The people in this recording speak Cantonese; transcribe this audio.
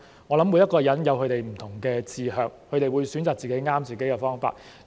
我想每個人也有其不同的志向，會選擇適合自己的方法。